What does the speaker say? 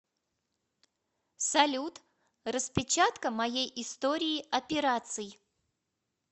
салют распечатка моей истории операций